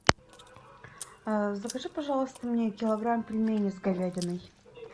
закажи пожалуйста мне килограмм пельменей с говядиной